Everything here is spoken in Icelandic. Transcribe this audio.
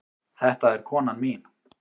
Þetta er konan mín.